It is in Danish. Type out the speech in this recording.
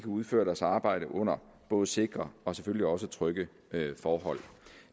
udføre deres arbejde under både sikre og selvfølgelig også trygge forhold